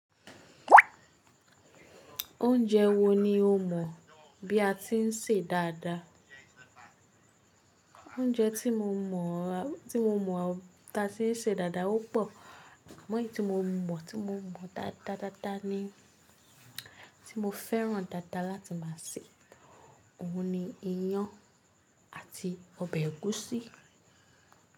Oúnjẹ wo ni o mọ̀ bí a ti ń sè dáadáa? Oúnjẹ tí mo mọ̀, tí mo mọ̀ táa se ń sè dáadáa ó pọ̀. Amọ̀ eyi tí mo mọ̀, tí mo mọ̀ dáadáa dáa ni tí mo fẹ́ràn dáadáa láti máa sè. Òun ni iyán àti ọbẹ̀ ẹ̀gúsí.